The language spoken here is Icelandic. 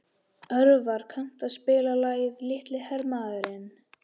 Örvar, kanntu að spila lagið „Litli hermaðurinn“?